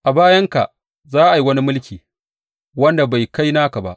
A bayanka, za a yi wani mulki, wanda bai kai naka ba.